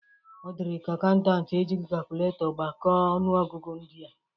Ọ dịrịka akaụntant e jighi kakụletọ gbakọ ọnụọgụgụ ndịa.